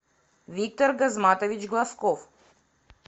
виктор газматович глазков